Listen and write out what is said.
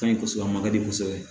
Ka ɲi kosɛbɛ a ma di kosɛbɛ